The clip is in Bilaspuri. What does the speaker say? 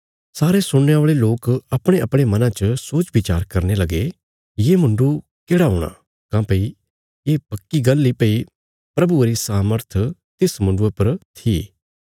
सारे सुणने औल़े लोक अपणेअपणे मना च सोचबिचार करने लगे ये मुण्डु केढ़ा हूणा काँह्भई ये पक्की गल्ल इ भई प्रभुये री सामर्थ तिस मुण्डुये पर थी